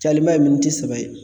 Cayalenba ye miniti saba ye